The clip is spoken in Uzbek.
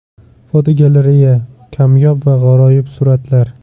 Fotogalereya: Kamyob va g‘aroyib suratlar.